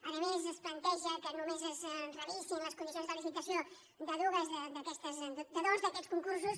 a més es planteja que només es revisin les condicions de licitació de dos d’aquests concursos